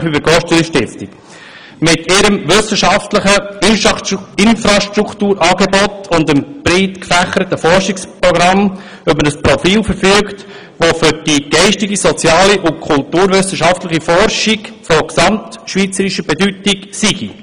Das Archiv für Agrargeschichte verfüge mit seinem wissenschaftlichen Infrastrukturangebot und dem breit gefächerten Forschungsprogramm über ein Profil, das für die geistige, soziale und kulturwissenschaftliche Forschung von gesamtschweizerischer Bedeutung sei.